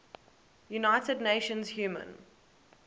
united nations human